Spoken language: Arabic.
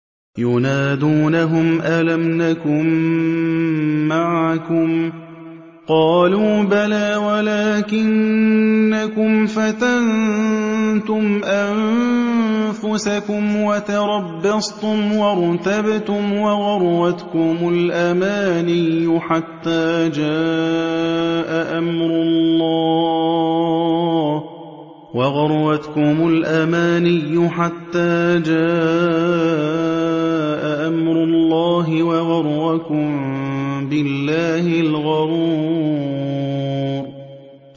يُنَادُونَهُمْ أَلَمْ نَكُن مَّعَكُمْ ۖ قَالُوا بَلَىٰ وَلَٰكِنَّكُمْ فَتَنتُمْ أَنفُسَكُمْ وَتَرَبَّصْتُمْ وَارْتَبْتُمْ وَغَرَّتْكُمُ الْأَمَانِيُّ حَتَّىٰ جَاءَ أَمْرُ اللَّهِ وَغَرَّكُم بِاللَّهِ الْغَرُورُ